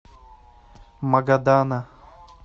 магадана